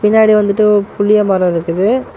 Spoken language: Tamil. பின்னாடி வந்துட்டு ஒர் புளிய மர இருக்குது.